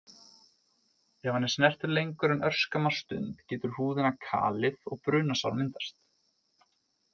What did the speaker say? Ef hann er snertur lengur en örskamma stund getur húðina kalið og brunasár myndast.